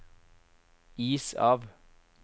is av